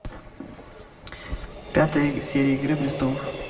пятая серия игры престолов